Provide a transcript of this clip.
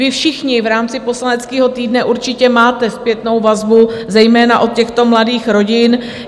Vy všichni v rámci poslaneckého týdne určitě máte zpětnou vazbu zejména od těchto mladých rodin.